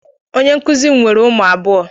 Onye nkuzi m nwere ụmụ abụọ